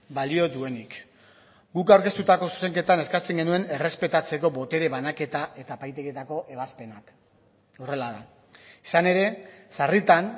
balio duenik guk aurkeztutako zuzenketan eskatzen genuen errespetatzeko botere banaketa eta epaitegietako ebazpenak horrela da izan ere sarritan